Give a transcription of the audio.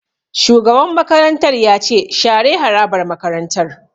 Shugaban makarantar ya ce 'Share harabar makarantar'!